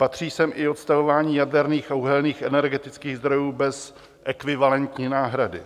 Patří sem i odstavování jaderných a uhelných energetických zdrojů bez ekvivalentní náhrady,